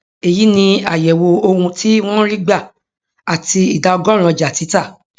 èyí ni àyèwò ohun tí wọn ń rí gbà àti ìdá ọgọrùnún ọjà títà